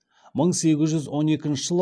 мың сегіз жүз он екінші жылы